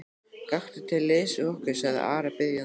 Gakktu til liðs við okkur, sagði Ari biðjandi.